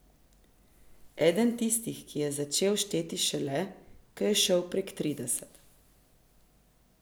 Eden tistih, ki je začel šteti šele, ko je šel prek trideset.